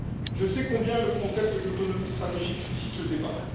Je sais combien le concept d'autonomie stratégique suscite le débat.